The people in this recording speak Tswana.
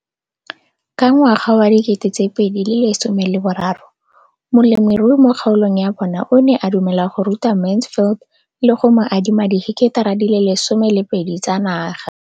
Ka ngwaga wa 2013, molemirui mo kgaolong ya bona o ne a dumela go ruta Mansfield le go mo adima di heketara di le 12 tsa naga.